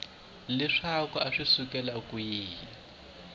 leswaku a swi sukela kwihi